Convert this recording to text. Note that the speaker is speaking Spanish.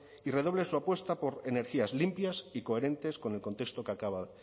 y redoble su apuesta por energías limpias y coherentes con el contexto